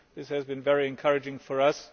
This has been very encouraging for us.